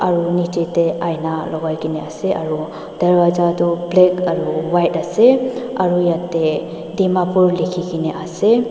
aro nichae tae aina lokaikae na ase aro dorpaja toh black aro white ase aru yatae dimapur likhikaena ase.